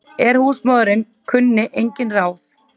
En húsmóðirin kunni engin ráð.